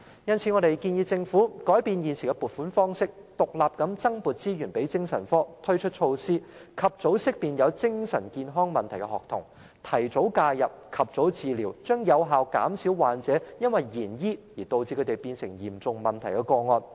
因此，我們建議政府改變現時的撥款方式，獨立增撥資源予精神科，推出措施，及早識別有精神健康問題的學童，提早介入，及早治療，這將有效減少患者因延遲治療而演變成嚴重問題的個案。